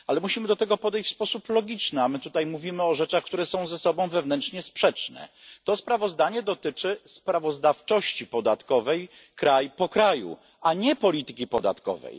Ale musimy do tego podejść w sposób logiczny, a my tutaj mówimy o rzeczach, które są ze sobą wewnętrznie sprzeczne. To sprawozdanie dotyczy sprawozdawczości podatkowej dla poszczególnych krajów, a nie polityki podatkowej.